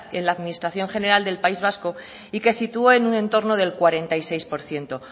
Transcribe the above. en la administración general del país vasco y que situó en un entorno del cuarenta y seis por ciento